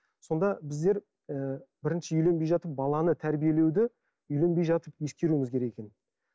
сонда біздер ы бірінші үйленбей жатып баланы тәрбиелеуді үйленбей жатып ескеруіміз керек екен